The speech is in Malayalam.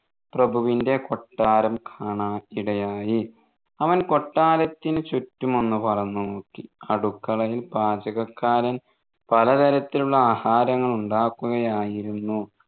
പ്രഭുവിൻെറ കൊട്ടാരം കാണാൻ ഇടയായി അവൻ കൊട്ടാരത്തിന് ചുറ്റുമൊന്നു പറന്നുനോക്കി അടുക്കളയിൽ പാചകക്കാരൻ പലതരത്തിലുള്ള ആഹാരങ്ങൾ ഉണ്ടാക്കുകയായിരുന്നു